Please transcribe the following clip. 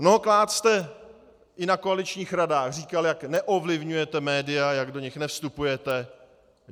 Mnohokrát jste i na koaličních radách říkal, jak neovlivňujete média, jak do nich nevstupujete.